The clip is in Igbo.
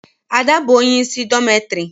Ada bụ onye isi dormitory.